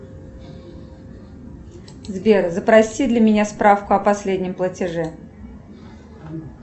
сбер запроси для меня справку о последнем платеже